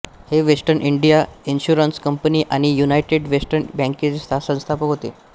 हे western India insurance company आणि united western बँकेचे संस्थापक होते